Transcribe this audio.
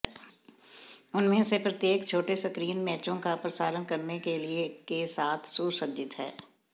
उनमें से प्रत्येक छोटे स्क्रीन मैचों का प्रसारण करने के लिए के साथ सुसज्जित है